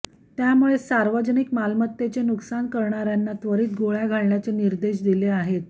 त्यामुळेच सार्वजनिक मालमत्तेचे नुकसान करणार्यांना त्वरित गोळ्या घालण्याचे निर्देश दिले आहेत